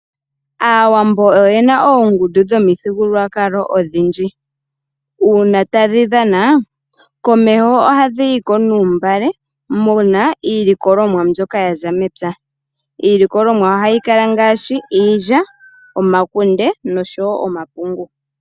Aawambo oyena oongundu dhomithigulukwakalo odhindji. Uuna tadhi dhana, komeho ohadhi yiko nuuntungwa muna iilikolomwa mbyoka yaza mepya. Iilikolomwa ohayi kala ngaashi, iilya, omakunde, noshowo omapungu.